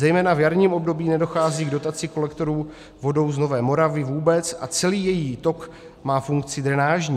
Zejména v jarním období nedochází k dotaci kolektorů vodou z Nové Moravy vůbec a celý její tok má funkci drenážní.